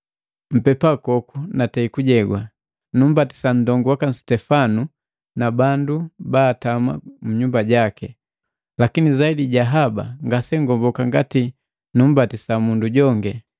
Mpepakoku natei kujewa, numbatisa nndongu waka Sitefana na bandu baatama nnyumba jaki, lakini zaidi ja haba, ngasengomboka ngati nubatisi mundu jongi.